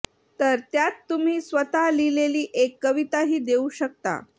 तर त्यात तुम्ही स्वतः लिहिलेली एक कविताही देऊ शकता